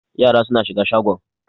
Yara suna shiga shagon.